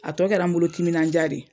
A tɔ kɛra n bolo timinandiya ye.